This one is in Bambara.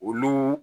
Olu